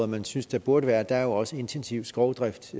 man synes det burde være er der jo også intensiv skovdrift